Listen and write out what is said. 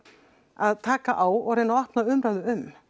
að taka á og reyna að opna umræðu um